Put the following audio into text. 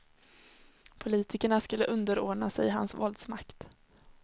Politikerna skulle underordna sig hans våldsmakt.